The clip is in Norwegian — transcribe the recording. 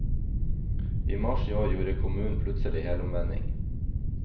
I mars i år gjorde kommunen plutselig helomvending.